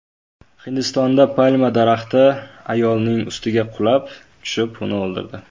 Hindistonda palma daraxti ayolning ustiga qulab tushib uni o‘ldirdi .